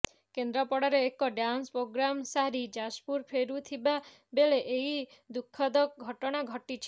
କେନ୍ଦ୍ରାପଡାରେ ଏକ dance programme ସାରି ଯାଜପୁର ଫେରୁଥିବା ବେଳେ ଏହି ଦୁଃଖଦ ଘଟଣା ଘଟିଛି